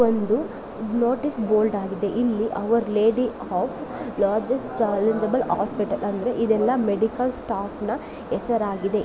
ಇದು ಒಂದು notice board ಆಗಿದೆ ಇಲ್ಲಿ our lady of largest charitable hospital ಅಂದ್ರೆ ಇದೆಲ್ಲ ಮೆಡಿಕಲ್ ಸ್ಟಾಫ್ ನ ಹೆಸರಾಗಿದೆ.